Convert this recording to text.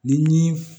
Ni